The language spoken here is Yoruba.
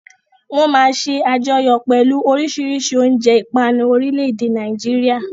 Wọ́n máa ṣe àjọyọ̀ pẹ̀lú oríṣiríṣi oúnjẹ ìpanu orílẹ̀-èdè Nàìjíríà.